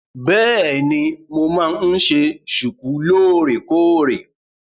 Bẹ́èni, mo máa ń ṣe ṣùkú lóòrèkóòrè.